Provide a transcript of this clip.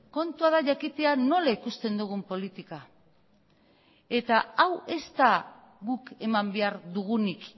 kontua da jakitea nola ikusten dugun politika eta hau ez da guk eman behar dugunik